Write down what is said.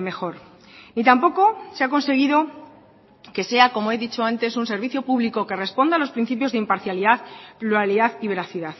mejor y tampoco se ha conseguido que sea como he dicho antes un servicio público que responda a los principios de imparcialidad pluralidad y veracidad